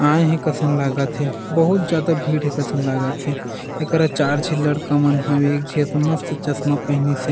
आये हे कसन लगत हे बहुत ज्यादा भीड़ हे कसन लागथे एक रा चार झे लड़का मन एक जे तो मस्त चश्मा पेहनीसे।